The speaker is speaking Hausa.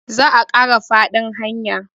za a Kara faɗin hanyar